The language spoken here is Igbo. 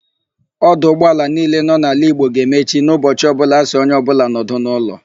Ọdụ ụgbọaala niile nọ n'ala Igbo ga-emechi n'ụbọchị ọbụla a sị onye ọbụla nọdụ n'ụlọ.